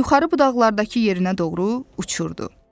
yuxarı budaqlardakı yerinə doğru uçurdu.